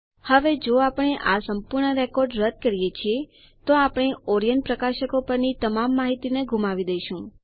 હવે જો આપણે આ સંપૂર્ણ રેકોર્ડ રદ્દ કરીએ છીએ તો આપણે ઓરિયન્ટ પ્રકાશકો પરની તમામ માહિતીને ગુમાવી દઈશું